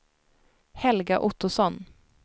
Helga Ottosson